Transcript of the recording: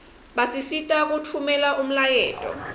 basisita kutfumela umlayeto